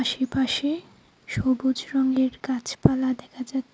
আশেপাশে সবুজ রঙের গাছপালা দেখা যাচ--